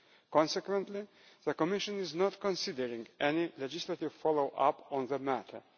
Consequently, the Commission is not considering any legislative follow up on the matter.